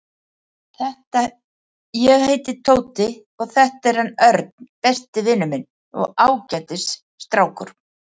Ég heiti Tóti og þetta er hann Örn, besti vinur minn og ágætis strákur.